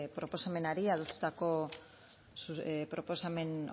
proposamenari adostutako proposamen